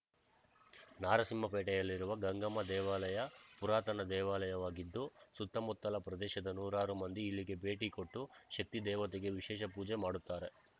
ನಾರಸಿಂಹಪೇಟೆಯಲ್ಲಿರುವ ಗಂಗಮ್ಮ ದೇವಾಲಯ ಪುರಾತನ ದೇವಾಲಯವಾಗಿದ್ದು ಸುತ್ತಮುತ್ತಲ ಪ್ರದೇಶದ ನೂರಾರು ಮಂದಿ ಇಲ್ಲಿಗೆ ಭೇಟಿ ಕೊಟ್ಟು ಶಕ್ತಿ ದೇವತೆಗೆ ವಿಶೇಷ ಪೂಜೆ ಮಾಡುತ್ತಾರೆ